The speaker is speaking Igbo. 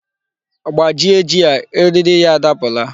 Gbajie ji a! Eriri ya adapula